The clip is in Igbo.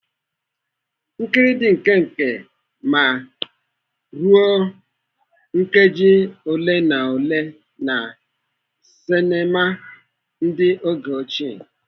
Nkiri dị nkenke ma ruo nkeji ole na ole na sinema ndị oge ochie.